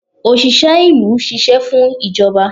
osìsé ìlú sìsé fún ijobà.